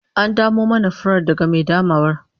An damo mana furar daga mai damawar?